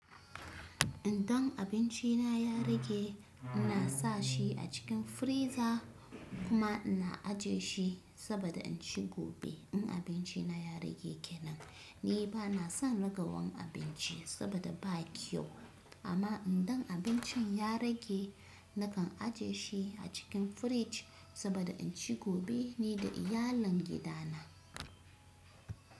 Indan abinci na ya rage, ina sa shi a cikin firiza kuma ina ajiye shi saboda in ci gobe. In abinci na ya rage kenan, ni ba na son ragowar abinci saboda ba kyau. Amma idan abincin ya rage, nakan ajiye shi a cikin firij saboda inci gobe ni da iyalin gidana.